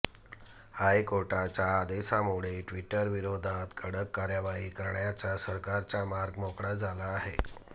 हायकोर्टाच्या आदेशामुळे ट्वीटरविरोधात कडक कारवाई करण्याचा सरकारचा मार्ग मोकळा झाला आहे